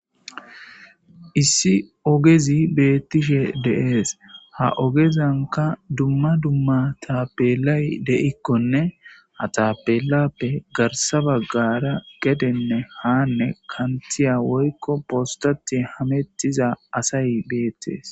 Issi ogezi beettishe deees ha ogezanka dumma dumma tappelay de'ikkonne hatappelappe garsa baggara gedenne haanne kantiya woykko postati hamettiza asay beettees.